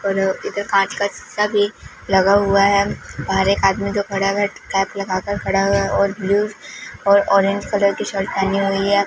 कोनो इधर कांच का सीसा भी लगा हुआ है। बाहर एक आदमी जो खड़ा हुआ कैप लगाकर खड़ा हुआ है और ब्लू और औरेंज कलर की शर्ट पहनी हुई है।